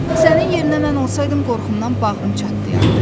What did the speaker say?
Sənin yerinə mən olsaydım qorxumdan bağrım çatlayardı.